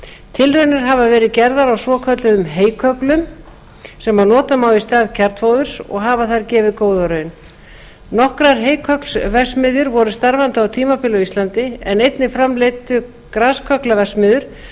tilraunir hafa verið gerðar á svokölluðum heykögglum sem nota má í stað kjarnfóðurs og hafa þær gefið góða raun nokkrar heykögglaverksmiðjur voru starfandi á tímabili á íslandi en einnig framleiddu graskögglaverksmiðjur þúsundir